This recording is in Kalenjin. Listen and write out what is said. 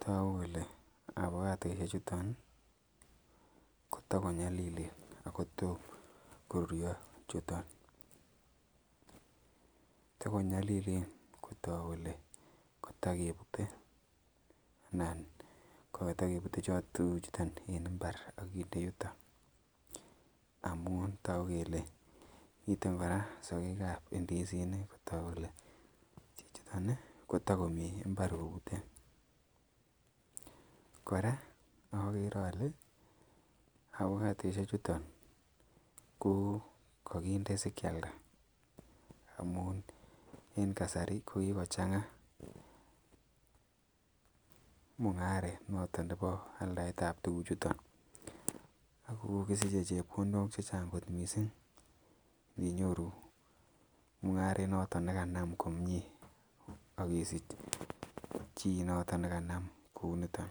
Tagu kole afokatoisiechuton kotagonyalilen ago tom korurio chuton. Takonyalilen kotok kole katakebute anan kokatagebute cheuchuton en imbar ak kinde yuto amun tagu kele miten kora sagekab indisik kotok kole chichiton ko tagomi imbar kobute. Kora agere ale afokatoisiechuton ko kaginde si kialda amun en kasari ko kigochanga mungaret noto nebo aldaetab tuguchuton ago kisiche chepkondok che chang kot mising. Ninyoru mungaret noto ne kanam komie ak isich chi noto nekanam kuunito.